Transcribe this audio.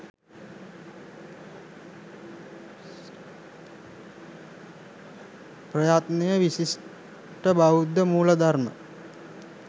ප්‍රයත්නය විශිෂ්ට බෞද්ධ මූල ධර්ම